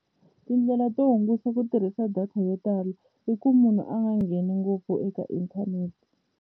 Tindlela to hunguta ku tirhisa data yo tala i ku munhu a nga ngheni ngopfu eka internet.